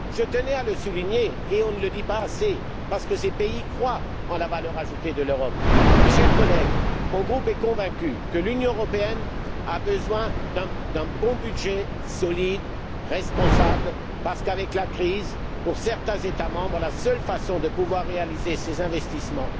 Je tenais à le souligner on ne le dit pas assez parce que ces pays croient en la valeur ajoutée de l'Europe. Chers collègues, mon groupe est convaincu que l'Union européenne a besoin d'un bon budget, solide et responsable, parce qu'avec la crise, pour certains États membres, c'est la seule façon de pouvoir réaliser ces investissements.